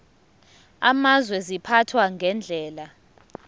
amazwe ziphathwa ngendlela